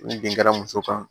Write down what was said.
Ni bin kɛra muso kan